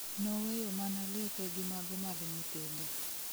Noweyo mana lepe gi mago mag nyithinde